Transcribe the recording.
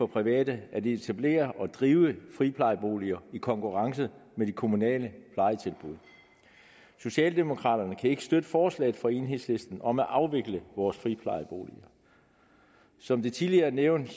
private at etablere og drive friplejeboliger i konkurrence med de kommunale plejetilbud socialdemokraterne kan ikke støtte forslaget fra enhedslisten om at afvikle vores friplejeboliger som det tidligere er nævnt